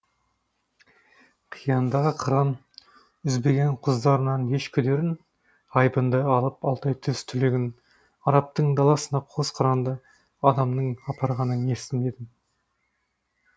қияндағы қыран үзбеген құздарынан еш күдерін айбынды алып алтай төс түлегін арабтың даласына қос қыранды адамның апарғанын естіп едім